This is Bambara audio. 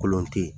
Kolon tɛ yen